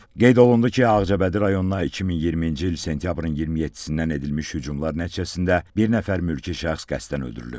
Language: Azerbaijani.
Qeyd olundu ki, Ağcabədi rayonuna 2020-ci il sentyabrın 27-dən edilmiş hücumlar nəticəsində bir nəfər mülki şəxs qəsdən öldürülüb.